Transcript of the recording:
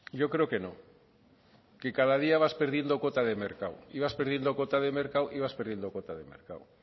yo creo que no que cada día vas perdiendo cuota de mercado y vas perdiendo cuota de mercado y vas perdiendo cuota de mercado